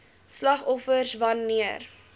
slagoffers wan neer